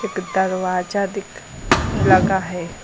एक दरवाजा दिख लगा है।